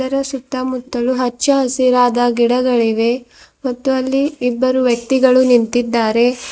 ಅದರ ಸುತ್ತಮುತ್ತಲು ಹಚ್ಚ ಹಸಿರಾದ ಗಿಡಗಳಿವೆ ಮತ್ತು ಅಲ್ಲಿ ಇಬ್ಬರು ವ್ಯಕ್ತಿಗಳು ನಿಂತಿದ್ದಾರೆ.